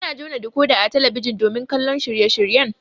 Ana jona dikoda a talabijin domin kallon shirye shiryen